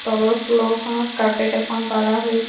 তলৰ ফ্ল'ৰখনত কাৰ্পেট এখন পাৰা হৈ--